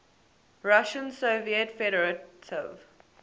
russian soviet federative